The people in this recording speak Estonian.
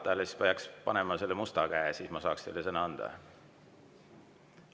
Siis peaks seda musta käe, siis ma saaks teile sõna anda.